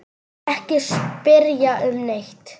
Ekki spyrja um neitt.